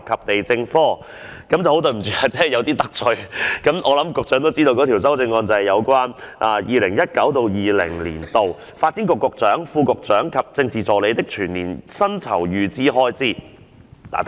抱歉今次有所得罪，因我相信局長也知道，此項修正案是要削減 2019-2020 年度發展局局長、副局長及政治助理的全年薪酬預算開支。